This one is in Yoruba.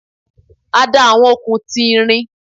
A da awọn okun ti irin